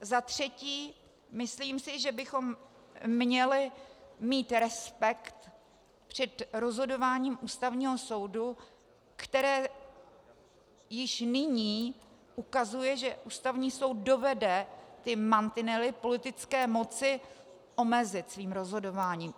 Za třetí, myslím si, že bychom měli mít respekt před rozhodováním Ústavního soudu, které již nyní ukazuje, že Ústavní soud dovede ty mantinely politické moci omezit svým rozhodováním.